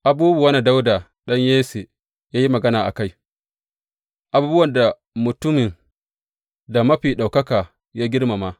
Abubuwan da Dawuda ɗan Yesse ya yi magana a kai, abubuwan da mutumin da Mafi Ɗaukaka ya girmama.